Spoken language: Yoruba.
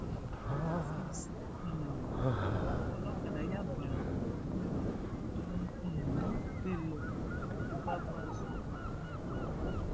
afeez um olókádá yá bàrá kúrò lọnà ẹrọ tó um gbé lọ lóò fipá bá sùn nínú igbó